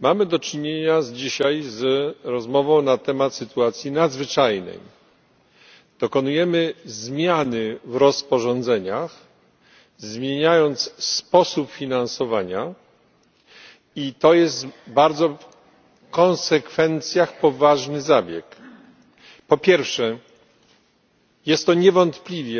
Mamy do czynienia dzisiaj z rozmową na temat sytuacji nadzwyczajnej dokonujemy zmiany w rozporządzeniach, zmieniając sposób finansowania. I to jest bardzo w konsekwencjach poważny zabieg. Po pierwsze, jest to niewątpliwie